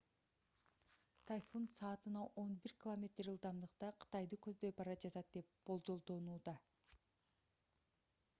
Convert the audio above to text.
тайфун саатына он бир километр ылдамдыкта кытайды көздөй бара жатат деп болжолдонууда